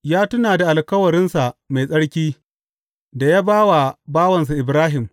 Ya tuna da alkawarinsa mai tsarki da ya ba wa bawansa Ibrahim.